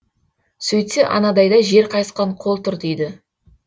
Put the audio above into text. сөйтсе анадайда жер қайысқан қол тұр дейді